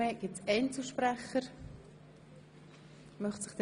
Möchten sich Einzelsprecher äussern?